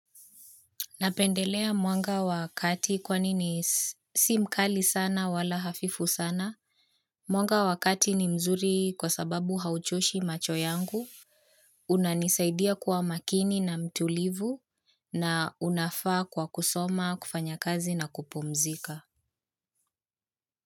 Napendelea mwanga wa kati kwani ni si mkali sana wala hafifu sana. Mwanga wa kati ni mzuri kwa sababu hauchoshi macho yangu. Unanisaidia kuwa makini na mtulivu na unafaa kwa kusoma, kufanya kazi na kupumzika.